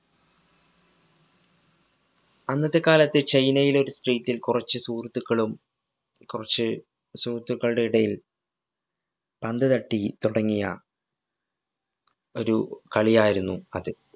അന്നത്തെ കാലത്ത് ചൈനയിലെ ഒരു street ല്‍ കുറച്ചു സുഹൃത്തുക്കളും കുറച്ച് സുഹൃത്തുക്കളുടെ ഇടയില്‍ പന്ത് തട്ടി തുടങ്ങിയ ഒരു കളിയായിരുന്നു അത്.